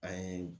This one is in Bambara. An ye